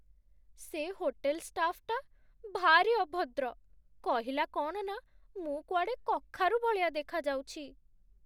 ସେ ହୋଟେଲ୍ ଷ୍ଟାଫ୍‌ଟା ଭାରି ଅଭଦ୍ର । କହିଲା କ'ଣ ନା ମୁଁ କୁଆଡ଼େ କଖାରୁ ଭଳିଆ ଦେଖାଯାଉଛି ।